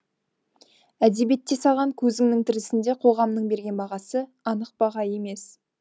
әдебиетте саған көзіңнің тірісінде қоғамның берген бағасы анық баға емес